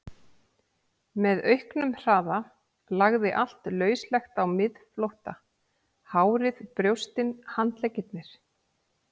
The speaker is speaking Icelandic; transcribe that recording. Með auknum hraða lagði allt lauslegt á miðflótta, hárið, brjóstin, handleggirnir.